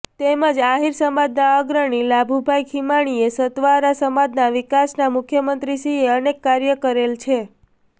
તેમજ આહીર સમાજના અગ્રણી લાભુભાઈ ખીમાણીયાએ સતવારા સમાજના વિકાસના મુખ્યમંત્રીશ્રીએ અનેક કાર્ય કરેલ છે